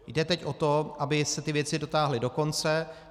Jde teď o to, aby se ty věci dotáhly do konce.